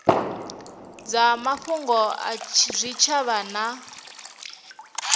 dza mafhungo a zwitshavha na